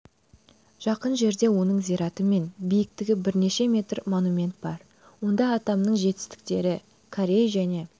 жақын жерде оның зираты мен биіктігі бірнеше метр монумент бар онда атамның жетістіктері корей және